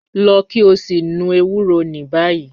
Lọ ki o si nu ewuro ni bayi